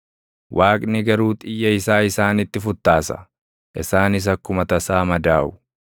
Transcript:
Waaqni garuu xiyya isaa isaanitti futtaasa; isaanis akkuma tasaa madaaʼu.